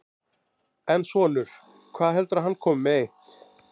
En þinn sonur, hvað heldurðu að hann komi með eitt?